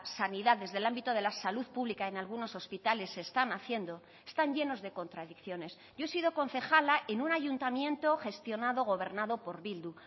sanidad desde el ámbito de la salud pública en algunos hospitales se están haciendo están llenos de contradicciones yo he sido concejala en un ayuntamiento gestionado o gobernado por bildu